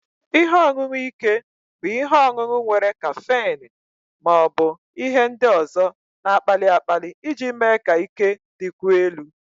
Ihe ọṅụṅụ ike bụ ihe ọṅụṅụ nwere kaffeine ma ọ bụ ihe ndị ọzọ na-akpali akpali iji mee ka ike dịkwuo elu